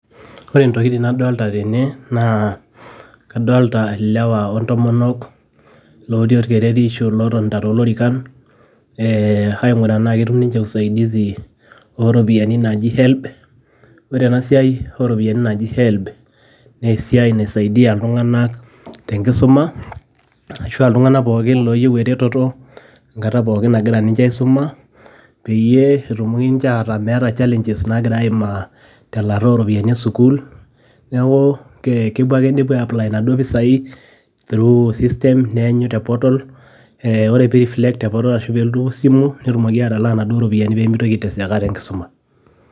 Ore intokiting nadolta tene, naa kadalta ilewa ontomonok, lotii orkereri ashu lotonta tolorikan, aing'uraa enaa ketum ninche usaidizi oropiyiani naji Helb. Ore enasiai oropiyiani naji Helb, nesiai naisaidia iltung'anak tenkisuma, ashua iltung'anak pookin loyieu ereteto enkata pookin nagira ninche aisuma, peyie etumoki nche ataa meeta challenges nagira nche aimaa, telaata oropiyiani esukuul. Neeku kepuo ake nepuo ai apply inaduo pisai, through system ,neenyu te portal ,ore pi reflect te portal ashu pelotu esimu, netumoki atalaa naduo ropiyaiani pemitoki ai teseka tenkisuma.